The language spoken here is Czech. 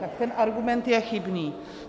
Tak ten argument je chybný.